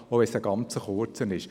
Auch wenn es ein ganz kurzer ist;